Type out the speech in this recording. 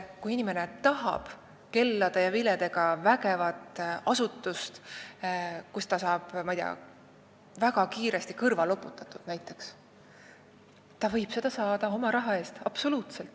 Kui inimene tahab kellade ja viledega vägevat asutust, kus ta saab näiteks väga kiiresti kõrva loputatud, siis ta võib seda saada oma raha eest.